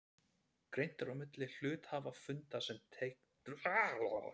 Greint er á milli hluthafafunda sem teljast til aðalfunda og hluthafafunda sem teljast til aukafunda.